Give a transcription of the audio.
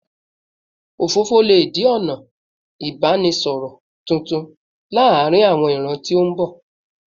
Òfófó lè di ọ̀nà ìbánisọ̀rọ̀ tuntun láàárín àwọn ìran tó ń bọ̀